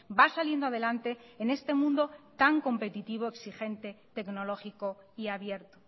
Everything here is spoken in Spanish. va saliendo adelante en este mundo tan competitivo exigente tecnológico y abierto